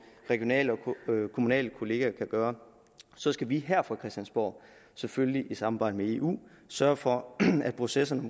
regionale og kommunale kollegaer kan gøre så skal vi her på christiansborg selvfølgelig i samarbejde med eu sørge for at processerne